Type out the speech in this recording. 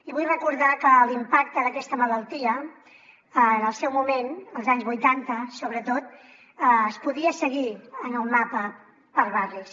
i vull recordar que l’impacte d’aquesta malaltia en el seu moment als anys vuitanta sobretot es podia seguir en el mapa per barris